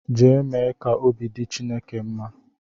Jee mee ka obi dị Chineke mma!